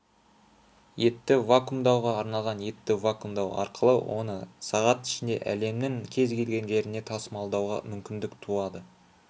етті вакумдауға арналған етті ваккумдау арқылыоны сағат ішінде әлемнің кез келген жеріне тасмалдуаға мүмкіндік туады